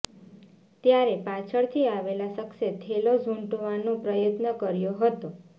ત્યારે પાછળથી આવેલા શખ્સે થેલો ઝૂંટવવાનો પ્રયાસ કર્યો હતો